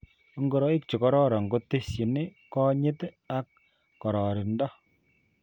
Ngoroik chikororon kutesyini konyit ak kororindo